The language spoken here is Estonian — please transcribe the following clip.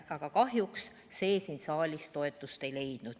Aga kahjuks see siin saalis toetust ei leidnud.